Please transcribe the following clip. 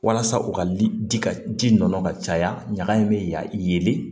Walasa u ka ji ka ji nɔnɔ ka caya ɲɛgɛn bɛ ya yelen